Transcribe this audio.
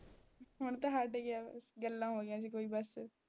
ਹੁਣ ਤਾਂ ਹੱਟ ਗਿਆ ਬਸ ਗੱਲਾਂ ਹੋਈਆਂ ਸੀ ਕੋਈ ਬਸ